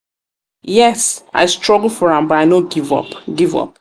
yes i struggle for am but i no give up. give up.